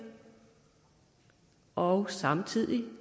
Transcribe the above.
og samtidig